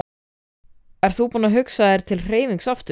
Ert þú að hugsa þér til hreyfings aftur?